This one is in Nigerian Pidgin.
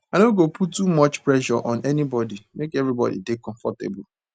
i no go put too much pressure on anybodi make everybodi dey comfortable